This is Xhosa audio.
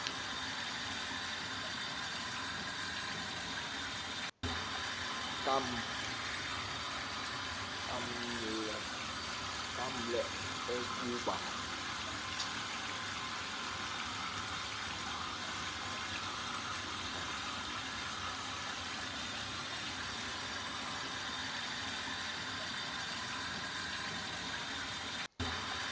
kaml e kuba